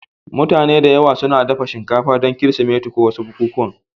Mutane da yawa suna dafa shinkafa don Kirsimeti ko wasu bukukuwa.